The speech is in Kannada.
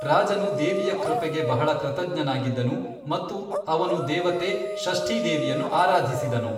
ರಾಜನು ದೇವಿಯ ಕೃಪೆಗೆ ಬಹಳ ಕೃತಜ್ಞನಾಗಿದ್ದನು ಮತ್ತು ಅವನು ದೇವತೆ ಷಷ್ಠೀ ದೇವಿಯನ್ನು ಆರಾಧಿಸಿದನು.